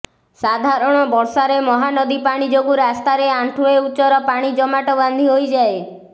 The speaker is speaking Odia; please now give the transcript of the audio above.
ସାଧାରଣ ବର୍ଷାରେ ମହାନଦୀ ପାଣି ଯୋଗୁଁ ରାସ୍ତାରେ ଆଣ୍ଠୁଏ ଉଚ୍ଚର ପାଣି ଜମାଟ ବାନ୍ଧି ହୋଇଯାଏ